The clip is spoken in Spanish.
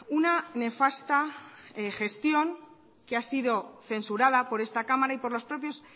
una nefasta gestión que ha sido censurada por esta cámara y por los propios